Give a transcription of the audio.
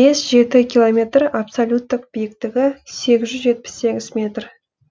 бес жеті километр абсолюттік биіктігі сегіз жүз жетпіс сегіз метр